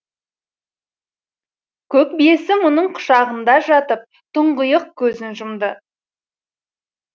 көк биесі мұның құшағында жатып тұңғиық көзін жұмды